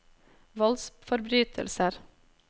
voldsforbrytelser